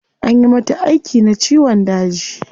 Anyi mata aiki na ciwon daji